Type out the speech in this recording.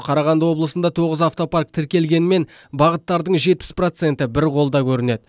қарағанды облысында тоғыз автопарк тіркелгенмен бағыттардың жетпіс проценті бір қолда көрінеді